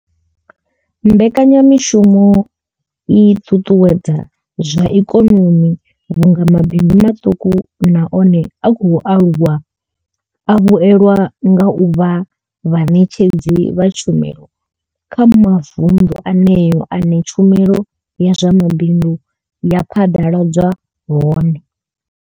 Mbekanya mushumo i ṱuṱuwedza zwa ikonomi vhunga mabindu maṱuku na one a khou aluwa a vhuelwa nga u vha vhaṋetshedzi vha tshumelo kha mavundu eneyo ane tshumelo ya zwa mabindu ya phaḓaladzwa hone.